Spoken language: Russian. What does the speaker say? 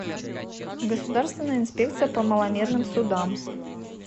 государственная инспекция по маломерным судам